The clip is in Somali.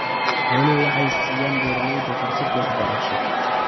Xooluhu waxay siiyaan beeralayda fursado waxbarasho.